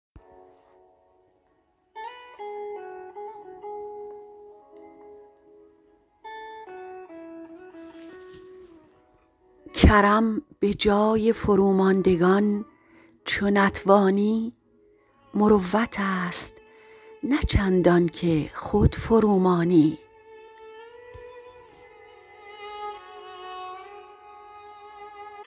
کرم به جای فروماندگان چو نتوانی مروتست نه چندانکه خود فرومانی